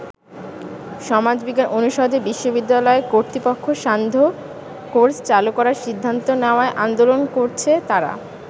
সমাজ বিজ্ঞান অনুষদে বিশ্ববিদ্যালয় কর্তৃপক্ষ সান্ধ্য কোর্স চালু করার সিদ্ধান্ত নেওয়ায় আন্দোলন করছে তারা।